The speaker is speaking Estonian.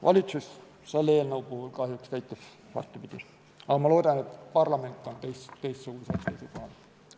" Valitsus selle eelnõu puhul käitus kahjuks vastupidi, aga ma loodan, et parlament on teistsugusel seisukohal.